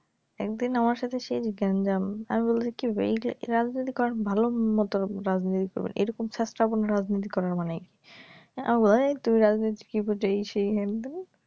একদিন আমার সাথে সেই গেন্জাম আমি বলছি কি রাজনীতি করেন ভালো মত রাজনীতি করবেন এই রকম ছেছড়া কোনো রাজনীতি করার মানে নাই আমারে বলে এই তুমি রাজনীতির কি বুঝ এই সেই হেনতেনো